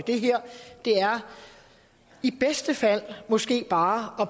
det her i bedste fald måske bare